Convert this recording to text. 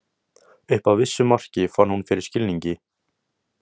Upp að vissu marki fann hún fyrir skilningi.